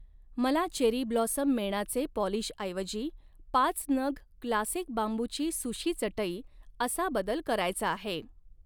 मला cherry blossom मेणाचे पॉलिशऐवजी पाच नग क्लासिक बांबूची सुशी चटई असा बदल करायचा आहे.